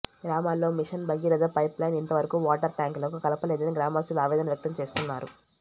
గ్రామాల్లో mission Bhagiratha pipeline ఇంతవరకు water tank లకు కలపలేదని గ్రామస్తులు ఆవేదన వ్యక్తంచేస్తున్నారు